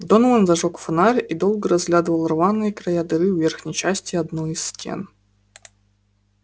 донован зажёг фонарь и долго разглядывал рваные края дыры в верхней части одной из стен